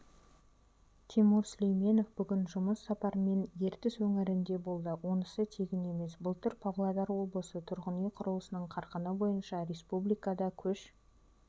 тимур сүлейменов бүгін жұмыс сапармен ертіс өңірінде болды онысы тегін емес былтыр павлодар облысы тұрғын үй құрылысының қарқыны бойынша республикада көш